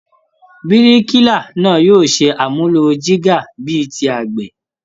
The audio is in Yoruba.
Bíríkìlá náà yóò ṣe àmúlò jígà bíi ti àgbẹ̀